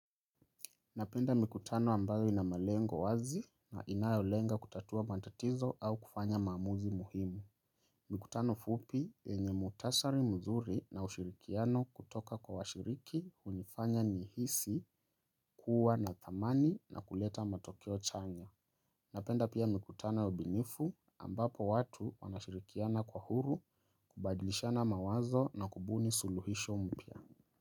Napenda mikutano ambayo inamalengo wazi na inayolenga kutatua mantatizo au kufanya mamuzi muhimu. Mikutano fupi yenye mutasari mzuri na ushirikiano kutoka kwa washiriki unifanya nihisi kuwa nathamani na kuleta matokeo chanya. Napenda pia mikutano ya ubinifu ambapo watu wanashirikiana kwa huru kubadilishana mawazo na kubuni suluhisho mpya.